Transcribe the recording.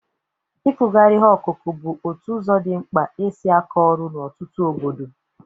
Ịkụgharị ihe akụkụ bụ otu ụzọ dị mkpa e si akọ ọrụ n'ọtụtụ obodo.